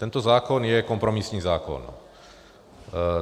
Tento zákon je kompromisní zákon.